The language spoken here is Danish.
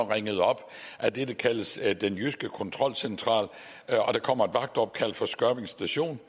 ringet op af det der kaldes den jyske kontrolcentral der kommer et vagtopkald fra skørping station